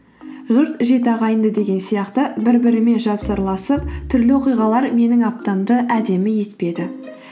жұт жеті ағайынды деген сияқты бір бірімен түрлі оқиғалар менің аптамды әдемі етпеді